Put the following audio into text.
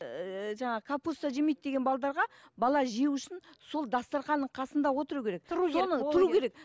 ііі жаңағы капуста жемейді деген бала жеу үшін сол дастарханның қасында отыру керек соны тұру керек